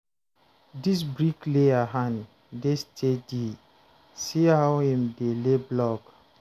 Dis bricklayer hand dey steady, see how im dey lay block.